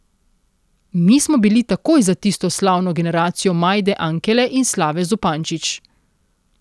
Mi smo bili takoj za tisto slavno generacijo Majde Ankele in Slave Zupančič.